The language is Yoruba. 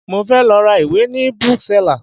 Mo fẹ́ lọ ra ìwé ni Bookseller